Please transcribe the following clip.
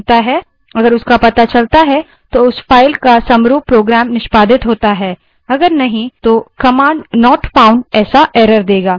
यदि इसका पता चलता है तो उस file का समरूप program निष्पादित होता है यदि नहीं तो command not फाउन्ड ऐसा error देगा